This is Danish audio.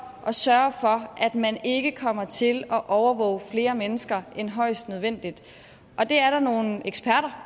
at sørge for at man ikke kommer til at overvåge flere mennesker end højst nødvendigt og det er der nogle eksperter